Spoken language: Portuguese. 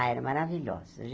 Ah, era maravilhosa.